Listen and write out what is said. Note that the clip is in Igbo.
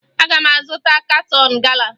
Aga m azụta katọn gala